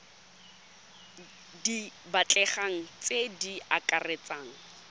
di batlegang tse di akaretsang